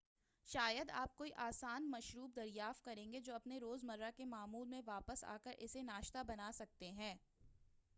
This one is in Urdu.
شاید آپ کوئی آسان مشروب دریافت کریں گے جو آپ اپنے روز مرہ کے معمول میں واپس آکر اسے ناشتہ بناسکتے ہیں